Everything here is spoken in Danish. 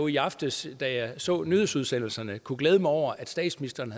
i aftes da jeg så nyhedsudsendelserne kunne glæde mig over at statsministeren